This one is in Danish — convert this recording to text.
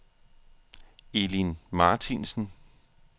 Elin Martinsen